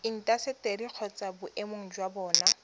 intaseteri kgotsa boemedi jwa bona